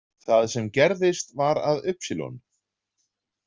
Það sem gerðist var að y.